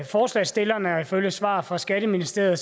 forslagsstillerne og ifølge svaret fra skatteministeriet